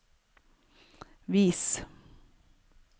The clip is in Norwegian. vis